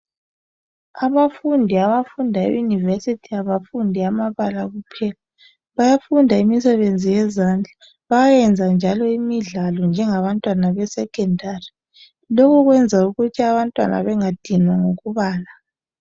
Abafundi abafunda eYunivesi abafundi amabala kuphela, bayayenza imisebenzi yezandla, bayayenza njalo imidlalo njengabantwana beSekhondari. Lokho kwenza ukuthi abantwaza bengadinwa ngokubala.